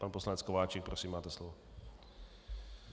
Pan poslanec Kováčik, prosím, máte slovo,